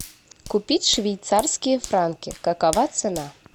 купить швейцарские франки какова цена